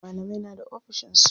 Malamai na da ofishin su.